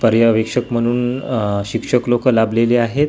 पर्यवेक्षक म्हणून आह शिक्षक लोकं लाभलेली आहेत आणि--